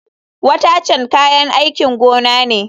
Watercan kayan aikin gona ne.